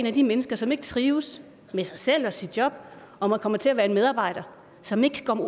af de mennesker som ikke trives med sig selv og sit job og man kommer til at være en medarbejder som ikke